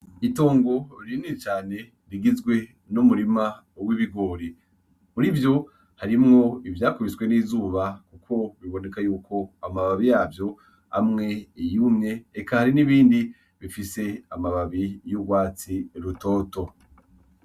Itongo rinini cane rigizwe n'umurima w'ibigori, murivyo harimwo ivya kubiswe n'izuba ko biboneka yuko mababi yavyo amwe yumye eka hariho n'ibindi bifise amababi y'urwatsi rutoto.